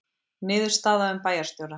Niðurstaða um bæjarstjóra